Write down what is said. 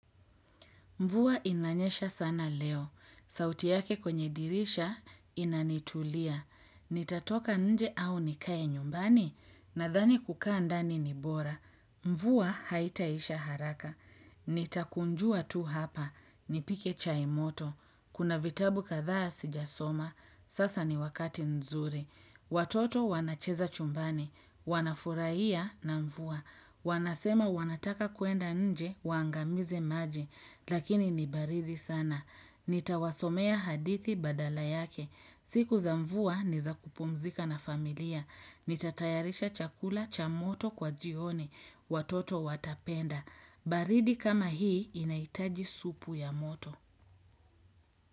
Mvua inanyesha sana leo. Sauti yake kwenye dirisha inanitulia. Nitatoka nje au nikae nyumbani. Nadhani kukaa ndani ni bora. Mvua haitaisha haraka. Nitakunjua tu hapa. Nipike chaimoto. Kuna vitabu kadhaa sijasoma. Sasa ni wakati nzuri. Watoto wanacheza chumbani. Wanafuraiya na mvua. Wanasema wanataka kuenda nje. Waangamize maji. Lakini ni baridi sana. Nitawasomea hadithi badala yake. Siku za mvua ni za kupumzika na familia. Nitatayarisha chakula cha moto kwa jioni. Watoto watapenda. Baridi kama hii inaitaji supu ya moto.